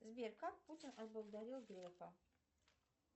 сбер как путин отблагодарил грефа